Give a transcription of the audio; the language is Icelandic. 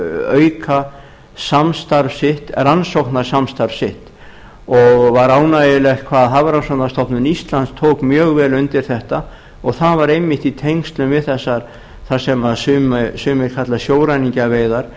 auka rannsóknasamstarf sitt og var ánægjulegt hvað hafrannsóknastofnun íslands tók mjög vel undir þetta og það var einmitt í tengslum við þessar sem sumir kalla sjóræningjaveiðar